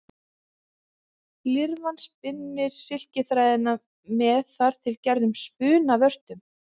Lirfan spinnur silkiþræðina með þar til gerðum spunavörtum.